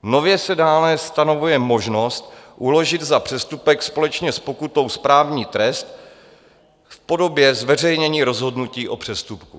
Nově se dále stanovuje možnost uložit za přestupek společně s pokutou správní trest v podobě zveřejnění rozhodnutí o přestupku.